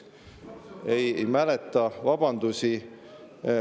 Ei mäleta vabandusi.